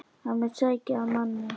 Hann mun sækja að manni.